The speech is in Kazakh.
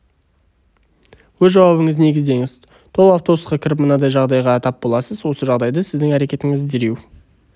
өз жауабыңызды негіздеңіз толы автобусқа кіріп мынадай жағдайға тап боласыз осы жағдайда сіздің әрекетіңіз дереу